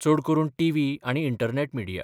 चड करून टीव्ही आनी इंटरनॅट मिडिया.